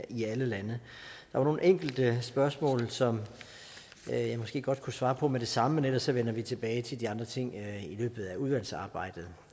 i alle lande der var nogle enkelte spørgsmål som jeg måske godt kunne svare på med det samme men ellers vender vi tilbage til de andre ting i løbet af udvalgsarbejdet